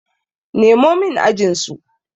Nemo min ajinsu!